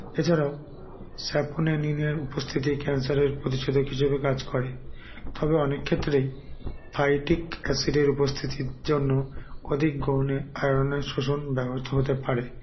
এছাড়াও saphoneni -আর উপস্থিতি cancer -এর প্রতিশেধক হিসেবে কাজ করে তবে অনেক ক্ষেত্রেই phytic acid -এর উপস্থিতির জন্য অধিক গ্ৰহনে iron -এর শোষণ ব্যহত হতে পারে